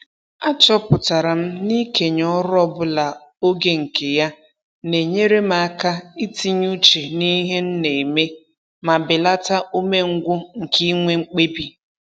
Achọpụtara m na-ikenye ọrụ ọbụla oge nke ya na-enyere m aka itinye uche n'ihe m na-eme ma belata umengwụ nke inwe mkpebi